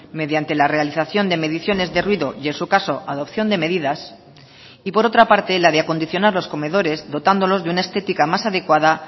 mediante la realización de mediciones de ruido y en su caso adopción de medidas y por otra parte la de acondicionar los comedores dotándolos de una estética más adecuada